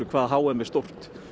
hvað h m er stórt